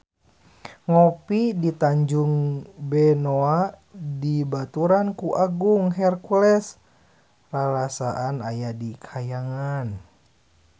Ngopi di Tanjung Benoa dibaturan ku Agung Hercules rarasaan aya di kahyangan